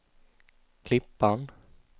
Klippan